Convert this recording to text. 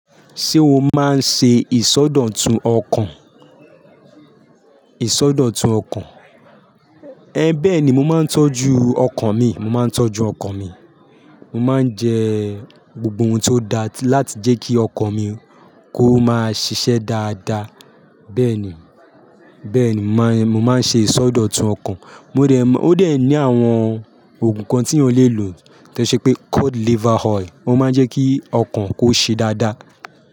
Ṣé o máa ń ṣe ìsọdọ̀tun ọkàn? Ìsọdọ̀tun ọkàn. Ẹ ń bẹ́ẹ̀ ni mo máa ń tọ́jú ọkàn mi, mo máa ń tọ́jú ọkàn mi. Mo máa ń jẹ gbogbo ohun tó dáa láti jẹ́ kí ọkàn mi kó máa ṣiṣẹ́ dáadáa. Bẹ́ẹ̀ ni, bẹ́ẹ̀ ni mo máa ń ṣe ìsọdọ̀tun ọkàn. Mo dẹ̀, ó de ní àwọn ògùn kan tí yan lè lò. Tí ẹ ṣe pé code liver oil, ó máa ń jẹ́ kí ọkàn kó ṣe dáadáa.